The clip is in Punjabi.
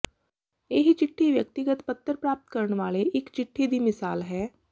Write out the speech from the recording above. ਇਹ ਚਿੱਠੀ ਵਿਅਕਤੀਗਤ ਪੱਤਰ ਪ੍ਰਾਪਤ ਕਰਨ ਵਾਲੇ ਇੱਕ ਚਿੱਠੀ ਦੀ ਮਿਸਾਲ ਹੈ